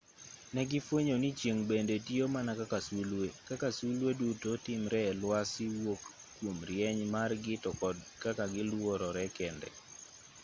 negifwenyo ni chieng' bende tiyo mana kaka sulwe kaka sulwe duto timre e lwasi wuok kuom rieny margi to kod kaka giluorore kende